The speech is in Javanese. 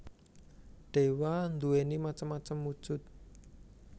Dewa nduwéni macem macem wujud